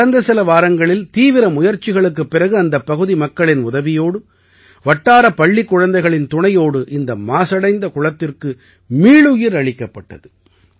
கடந்த சில வாரங்களில் தீவிர முயற்சிகளுக்குப் பிறகு அந்தப் பகுதி மக்களின் உதவியோடு வட்டார பள்ளிக் குழந்தைகளின் துணையோடு இந்த மாசடைந்த குளத்திற்கு மீளுயிர் அளிக்கப்பட்டது